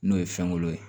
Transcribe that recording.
N'o ye fɛn kolo ye